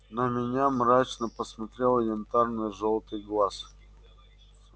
на меня мрачно посмотрел янтарно-жёлтый глаз